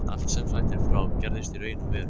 Allt sem sagt er frá, gerðist í raun og veru.